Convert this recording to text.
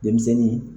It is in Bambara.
Denmisɛnnin